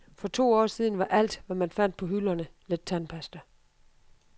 For to år siden var alt, hvad man fandt på hylderne lidt tandpasta.